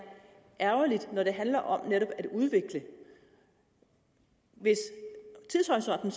ærgerligt når det handler om netop at udvikle hvis tidshorisonten